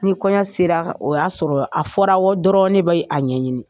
Ni kɔɲɔ sera o y'a sɔrɔ a fɔra dɔrɔn ne bɛ a ɲɛɲini.